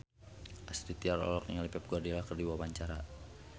Astrid Tiar olohok ningali Pep Guardiola keur diwawancara